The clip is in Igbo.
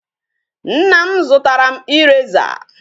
Nna m zụtara m eraser.